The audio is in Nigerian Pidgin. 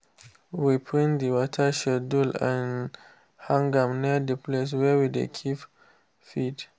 we print the water schedule and hang am near the place wey we dey keep feed.